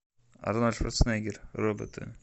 арнольд шварценеггер роботы